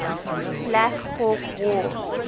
black hawk war